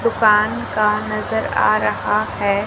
दुकान का नजर आ रहा है।